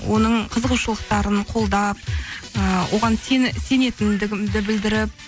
оның қызығушылықтарын қолдап ыыы оған сенетінімді білдіріп